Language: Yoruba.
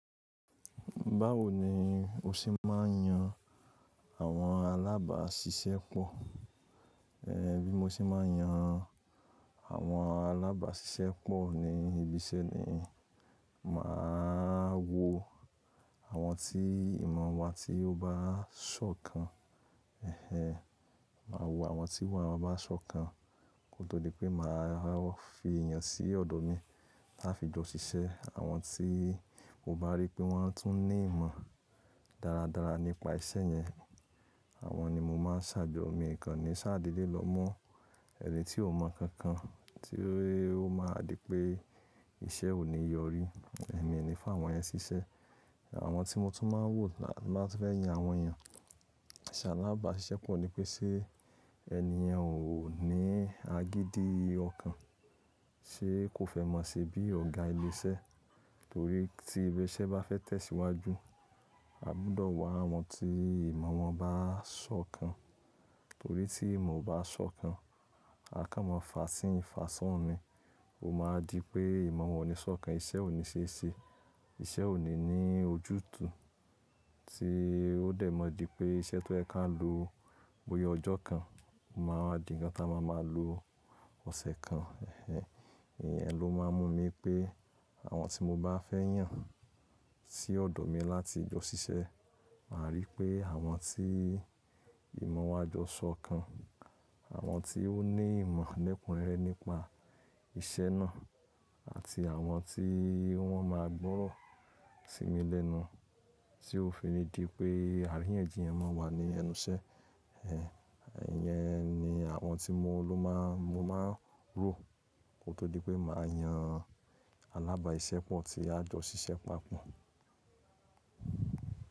Báwo ni o ṣe máa ń yan àwọn alábàáṣiṣẹ́ pọ̀? Ehn, bí mo ṣe máa ń yan àwọn alábàáṣiṣẹ́ pọ̀ ni ibi iṣẹ́ ni, màá wo àwọn tí ìmọ̀ wọn tí ó bá sọ́kan. Ehen, màá wo àwọn tí ìmọ̀ wọn bá sọ́kan kó tó di pé màá fi èèyàn sí ọ̀dọ̀ mi láti jọ ṣiṣẹ́. Àwọn tí mo bá rí pé wọ́n tún ní ìmọ̀ dáradára nípa iṣẹ́ yẹn, àwọn ni mo máa ń ṣhàjo mi Ìkànnì ṣáàdedẹ́ lọ mọ́ ẹni tí ó mọ̀ kankan tí ó máa di pé iṣẹ́ ò ní yọrí. Ẹ̀mi o ni fi àwọn yẹn ṣiṣẹ́. Àwọn tí mo tún máa ń wò láti máa fẹ́ yan àwọn èèyàn ṣi alábàáṣiṣẹ́ pọ̀ ni pé ṣé ẹni èèyàn ò ní agídí ọ̀kan, ṣe kò fẹ́ mọ̀ síi bí ọ̀gá ilé iṣẹ́? Torí tí ibi iṣẹ́ bá fẹ́ tẹ̀síwájú, a gbọ́dọ̀ wá àwọn tí ìmọ̀ wọn bá sọ́kan. Torí tí ìmọ̀ o bá sọ́kan, àká máa fa sí ní, fà soun ní, ó máa di pé ìmọ̀ wọn ò ní sọ́kan, iṣẹ́ ò ní ṣe ṣe, iṣẹ́ ò ní ní ojútùú tí ó dẹ̀ mọ̀ di pé iṣẹ́ tó ẹ ká lò bóyá ọjọ́ kan, ó máa wa di ǹkan tí a máa máa lò ọ̀sẹ̀ kan. Ehen, ìyẹn ló máa ń mú mi pé àwọn tí mo bá fẹ́ yàn sí ọ̀dọ̀ mi láti jọ ṣiṣẹ́, màá rí pé àwọn tí ìmọ̀ wa á jọ ṣọ́kan, àwọn tí ó ní ìmọ̀ lẹ́kùnrére nípa iṣẹ́ náà àti àwọn tí wọ́n máa gbọ́ro sí mi lẹ́nu tí ó fi ni di pé àríyànjiyàn máa wà ní ẹnu iṣẹ́. Ehen, ìyẹn ni àwọn tí mo ló máa, mo máa rò kó tó di pé màá yan alábàáṣiṣẹ́ pọ̀ tí a jọ ṣiṣẹ́ papọ̀.